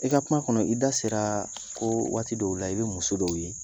I ka kuma kɔnɔ i da sera ko waati dɔw la i bɛ muso dɔw ye